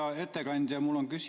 Hea ettekandja!